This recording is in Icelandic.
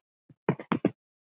Þau eru hljóð um stund.